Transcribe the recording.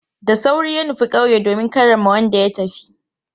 Da sauri ya nufi kauye domin karrama wanda ya tafi.